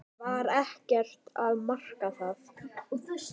Var ekkert að marka það?